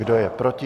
Kdo je proti?